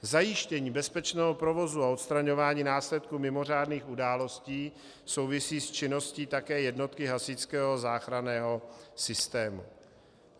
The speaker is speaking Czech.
Zajištění bezpečného provozu a odstraňování následků mimořádných událostí souvisí s činností také jednotky hasičského záchranného systému.